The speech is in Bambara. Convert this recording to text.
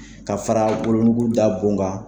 Ka fara wolonugu da bon kan.